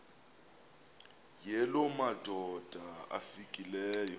yala madoda amfikeleyo